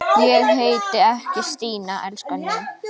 Ég heiti ekki Stína, elskan mín.